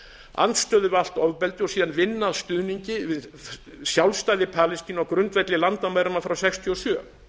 andstöðu við allt ofbeldi og síðan vinna að stuðningi við sjálfstæði palestínu á grundvelli landamæranna frá nítján hundruð sextíu og sjö